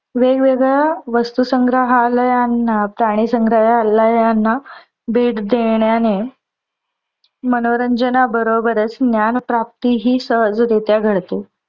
वेग वेगळ्या वस्तू संगरहालयांना, प्राणी संग्रालयांना भेट देण्याने मनोरंजना बरोबरच ज्ञान प्राप्ती हि सहजरित्या घडते.